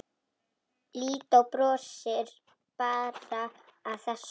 Lídó brosir bara að þessu.